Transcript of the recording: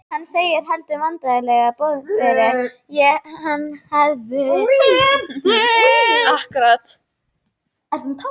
Hann segir, heldur vandræðalegur: Boðberi, ég hafði efasemdir um þig.